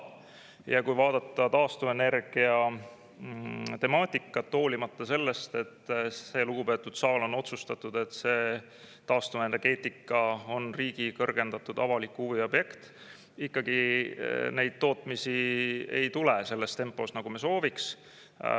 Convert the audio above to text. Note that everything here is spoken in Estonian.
Ja kui vaadata taastuvenergia temaatikat, hoolimata sellest, et see lugupeetud saal on otsustanud, et see taastuvenergeetika on riigi kõrgendatud avaliku huvi objekt, ikkagi neid tootmisi ei tule selles tempos, nagu me sooviks.